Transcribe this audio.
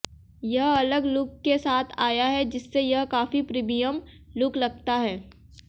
यह अलग लुक के साथ आया है जिससे यह काफी प्रीमियम लुक लगता है